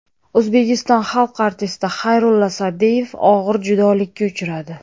O‘zbekiston xalq artisti Xayrulla Sa’diyev og‘ir judolikka uchradi.